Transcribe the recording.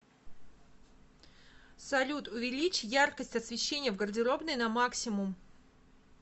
салют увеличь яркость освещения в гардеробной на максимум